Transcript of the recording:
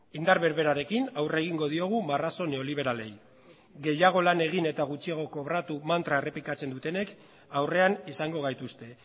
indar berberarekin aurre egingo diogu marrazo neoliberalei gehiago lan egin eta gutxiago kobratu mantra errepikatzen dutenek aurrean izango gaituzte